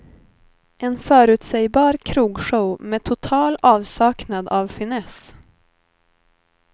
En förutsägbar krogshow med total avsaknad av finess.